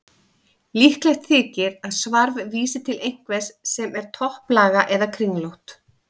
Líklegt þykir að svarf vísi til einhvers sem er topplaga eða kringlótt.